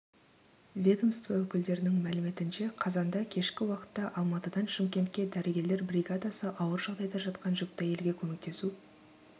ведомство өкілдерінің мәліметінше қазанда кешкі уақытта алматыдан шымкентке дәрігерлер бригадасы ауыр жағдайда жатқан жүкті әйелге көмектесу